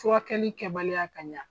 Furakɛli kɛbaliya ka ɲa.